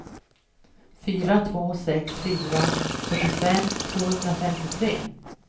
fyra två sex fyra fyrtiofem tvåhundrafemtiotre